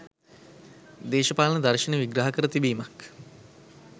දේශපාලන දර්ශනය විග්‍රහ කර තිබීමක්